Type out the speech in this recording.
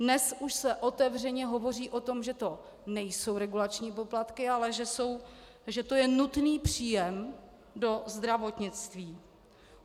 Dnes už se otevřeně hovoří o tom, že to nejsou regulační poplatky, ale že to je nutný příjem do zdravotnictví.